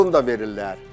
Yol pulun da verirlər.